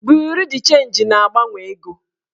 Buriu d chenji na-agbanwe ego